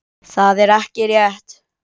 Það er ekki rétt.